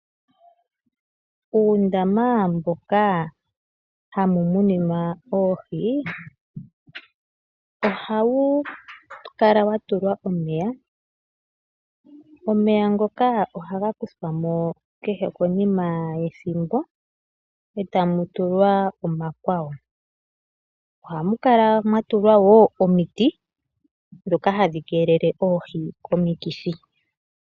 Uundama mboka hamu muninwa oohi ohawu kala wa tulwa omeya. Omeya ngoka ohaga kuthwamo kehe konima yethimbo, e ta mu tulwa omakwawo. Ohamu kala mwa tulwa wo omiti ndhoka hadhi keelele oohi komikithi.